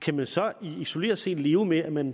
kan man så isoleret set leve med at man